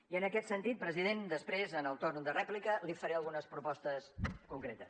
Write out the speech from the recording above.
i en aquest sentit president després en el torn de rèplica li faré algunes propostes concretes